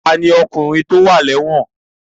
Ta ni ọkùnrin tí ó wà lẹ́wọ̀n?